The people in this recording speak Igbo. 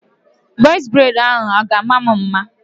Bọz breid ahụ a ga-ama m mma?